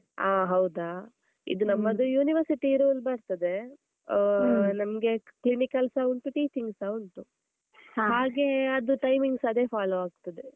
ಆ ಹೌದಾ, ಇದೂ ನಮ್ಮದು university rule ಬರ್ತದೆ, ಆಹ್ ನಮ್ಗೆ clinical ಸ ಉಂಟು, teaching ಸ ಉಂಟು, ಹಾಗೆ ಅದು timings ಅದೇ follow ಆಗ್ತದೆ.